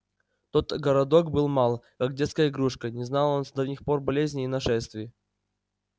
тот городок был мал как детская игрушка не знал он с давних пор болезней и нашествий